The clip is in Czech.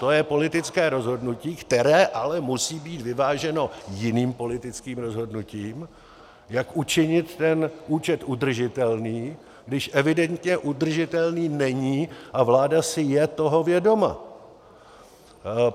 To je politické rozhodnutí, které ale musí být vyváženo jiným politickým rozhodnutím, jak učinit ten účet udržitelným, když evidentně udržitelný není, a vláda si je toho vědoma.